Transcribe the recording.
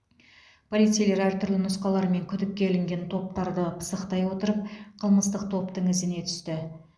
полицейлер әртүрлі нұсқалар мен күдікке ілінген топтарды пысықтай отырып қылмыстық топтың ізіне түсті